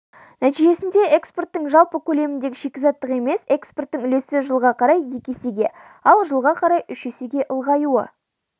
нәтижесінде экспорттың жалпы көлеміндегі шикізаттық емес экспорттың үлесі жылға қарай екі есеге ал жылға қарай үш есеге ұлғаюы